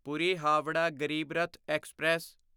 Puri Howrah Garib Rath express